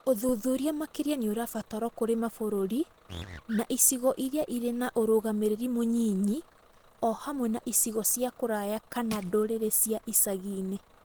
Ũthuthuria makĩria nĩ ũrabatarwo kũrĩ mabũrũri na icigo irĩa irĩ na ũrũgamĩrĩri mũnyinyi o hamwe na icigo cia kũraya kana ndũrĩrĩ cia icaginĩ.